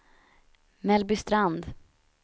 Mellbystrand